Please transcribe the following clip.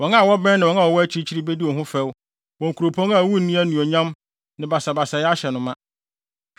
Wɔn a wɔbɛn ne wɔn a wɔwɔ akyirikyiri bedi wo ho fɛw, wo Kuropɔn a wunni anuonyam, na basabasayɛ ahyɛ no ma.